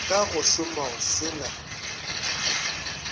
ka go šomao se na